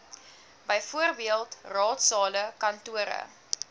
bv raadsale kantore